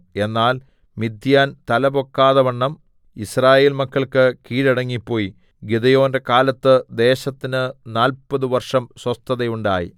എന്നാൽ മിദ്യാൻ തലപൊക്കാതവണ്ണം യിസ്രായേൽ മക്കൾക്ക് കീഴടങ്ങിപ്പോയി ഗിദെയോന്റെ കാലത്ത് ദേശത്തിന് നാല്പതു വർഷം സ്വസ്ഥതയുണ്ടായി